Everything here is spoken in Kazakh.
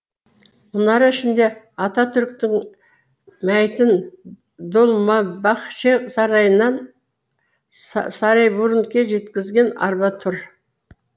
мұнара ішінде ататүріктің мәйітін долмабахче сарайынан сарайбурнуге жеткізген арба тұр